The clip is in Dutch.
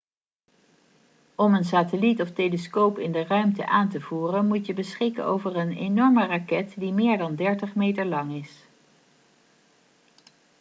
om een satelliet of telescoop in de ruimte aan te voeren moet je beschikken over een enorme raket die meer dan 30 meter lang is